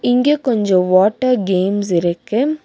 இங்க கொஞ்ஜோ water games இருக்கு.